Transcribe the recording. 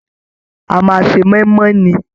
A máa n ṣe moimoi ní.